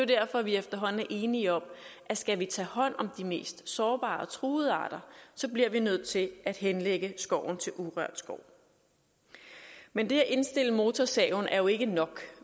derfor vi efterhånden er enige om at skal vi tage hånd om de mest sårbare og truede arter bliver vi nødt til at henlægge skoven til urørt skov men det at indstille motorsaven er jo ikke nok